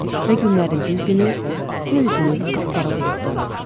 Və günlərin bir günü göy üzünü qapqara buludlar aldı.